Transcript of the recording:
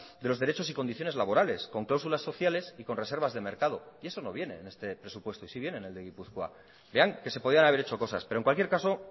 de los derechos y condiciones laborales con cláusulas sociales y con reservas de mercado y eso no viene en este presupuesto y sí viene en el de gipuzkoa vean que se podían haber hecho cosas pero en cualquier caso